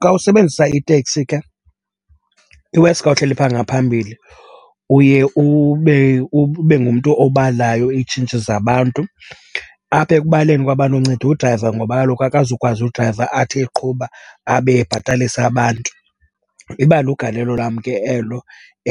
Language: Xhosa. Xa usebenzisa iteksi ke, i-worse xa uhleli pha ngaphambili, uye ube ngumntu obalayo iitshintshi zabantu. Apha ekubaleni kwabantu unceda udrayiva ngoba kaloku akazukwazi udrayiva athi eqhuba abe ebhatalisa abantu. Iba lugalelo lam ke elo